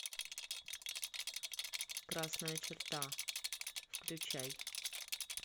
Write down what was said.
красная черта включай